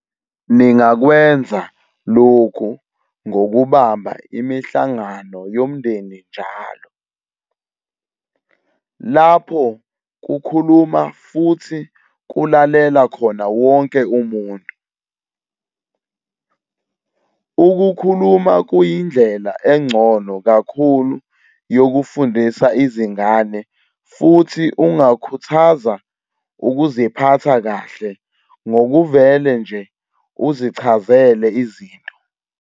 Ningakwenza lokhu ngokubamba imihlangano yomndeni njalo, lapho kukhuluma futhi kulalela khona wonke umuntu. Ukukhuluma kuyindlela engcono kakhulu yokufundisa izingane futhi ungakhuthaza ukuziphatha kahle ngokuvele nje uzichazele izinto.